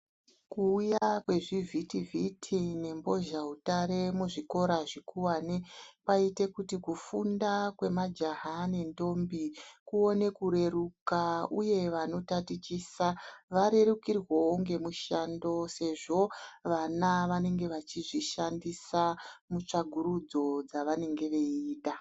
Kuuya kwezvifiti vhiti nembozha utare muzvikora zvikuwane kwaita kuti kufunda kwemajaya nendombi kuone kureruka uye vanotatichasa varerukirwewo ngemushando sezvo vana vanenge vachizvishandisa mutsvagurudzo dzavanenge veita